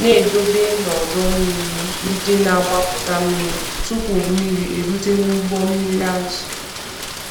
na-edobe n'ọdọ mmiri ndị na-agbapụta mmiri tupu mmiri erute n'ụgbọ mmiri azụ.